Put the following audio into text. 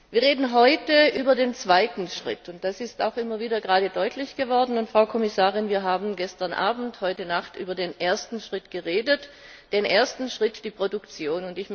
Wir reden heute über den zweiten Schritt, und das ist auch gerade immer wieder deutlich geworden. Frau Kommissarin, wir haben gestern Abend, heute Nacht über den ersten Schritt geredet, das ist die Produktion.